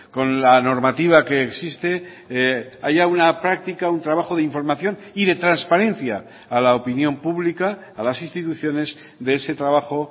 con la normativa que existe haya una práctica un trabajo de información y de transparencia a la opinión pública a las instituciones de ese trabajo